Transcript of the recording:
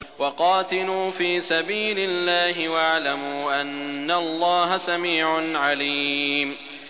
وَقَاتِلُوا فِي سَبِيلِ اللَّهِ وَاعْلَمُوا أَنَّ اللَّهَ سَمِيعٌ عَلِيمٌ